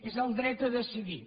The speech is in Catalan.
és el dret a decidir